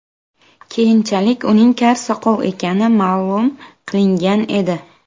Keyinchalik uning kar-soqov ekani ma’lum qilingan edi.